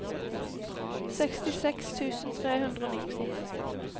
sekstiseks tusen tre hundre og nitti